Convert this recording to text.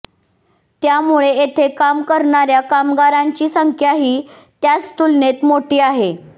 त्यामुळे येथे काम करणाऱ्या कामगारांची संख्याही त्याच तुलनेत मोठी आहे